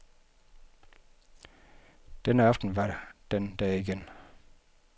Denne aften var den der igen.